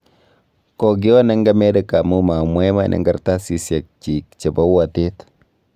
Kokioon eng Amerika amu ma mwa iman eng Kartasiyek chiik chebo uatet